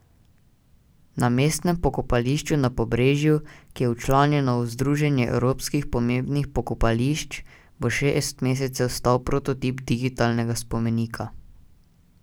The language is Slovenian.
Na mestnem pokopališču na Pobrežju, ki je včlanjeno v združenje evropskih pomembnih pokopališč, bo šest mesecev stal prototip digitalnega spomenika.